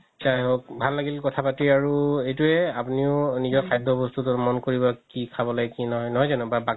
আতচা ভাল লাগিল কথা পাতি আৰু এইটোৱে আপুনিও নিজৰ খাদ্য বস্তুতোত মন কৰিব কি খাব লাগে কি নহয়, নহয় জানো